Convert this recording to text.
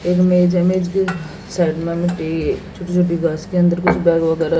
छोटी छोटी बस के अंदर कुछ --